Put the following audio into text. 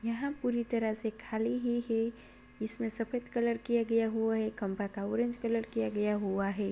यह पूरी तरह से खाली ही है। इसमें सफेद कलर किया गया हुआ है खंभा का ऑरेंज कलर किया गया हुआ है।